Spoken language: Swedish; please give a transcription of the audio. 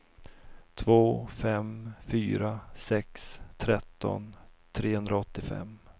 två fem fyra sex tretton trehundraåttiofem